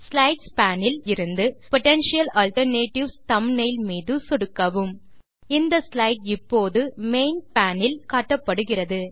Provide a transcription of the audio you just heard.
slides pane இலிருந்து potential alternatives thumbnail மீது சொடுக்கவும் இந்த ஸ்லைடு இப்போது மெயின் பேன் இல் காட்டப்படுகிறது